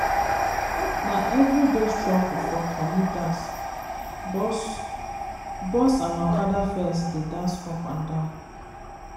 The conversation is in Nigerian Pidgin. na everyday struggle for commuters bus bus and okada fares dey dance up and down.